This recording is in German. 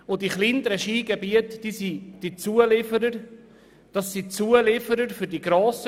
Die kleineren Skigebiete sind Zulieferer für die grossen.